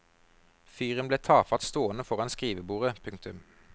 Fyren ble tafatt stående foran skrivebordet. punktum